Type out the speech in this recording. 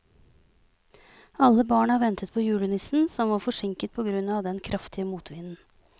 Alle barna ventet på julenissen, som var forsinket på grunn av den kraftige motvinden.